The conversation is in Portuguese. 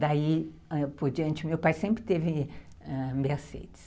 Daí, por diante, meu pai sempre teve ãh Mercedes.